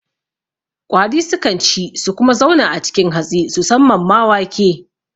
Ƙwari sukan ci su kuma zauna a cikin hatsi susamman ma wake